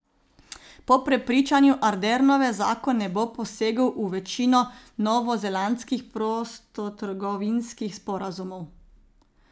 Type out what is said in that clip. Po prepričanju Ardernove zakon ne bo posegel v večino novozelandskih prostotrgovinskih sporazumov.